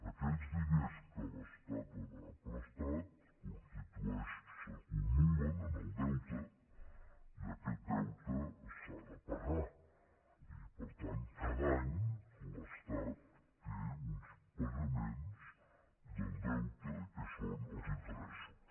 aquells diners que l’estat ha demanat prestats s’acu·mulen en el deute i aquest deute s’ha de pagar i per tant cada any l’estat té uns pagaments del deute que són els interessos